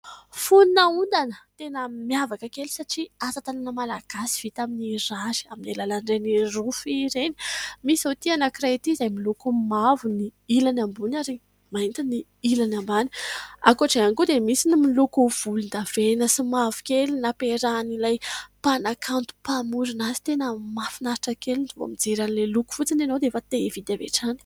Foni-na ondana tena miavaka kely! Satria asa-tanana Malagasy vita amin'ny rary, aminy alalan'ireny "Rofia" ireny. Misy zao ity anank'iray ity, izay miloko mavo ny ilany ambony, ary mainty ny ilany ambany. Ankoatr'izay hiany koa, dia misy ny miloko volondavenona sy mavokely nampiarahan'ilay mpanakanto mpamorona azy. Tena mahafinaritra kely! Vao mijery ilay loko fotsiny ianao, dia te hividy avy hatrany.